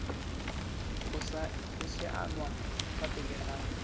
go saenwa fa pele ga